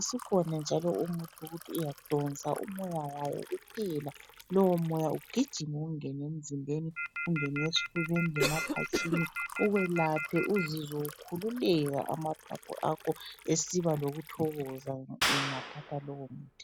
Isikhona njalo umuthi eyokuthi uyadonsa umoya wayo kuphela. Lowomoya ugijime ungene emzimbeni, ungene esifubeni lemaphatshini ukwelaphe uzizwe ukhululeka amaphaphu akho esiba lokuthokoza ungathatha lowomuthi.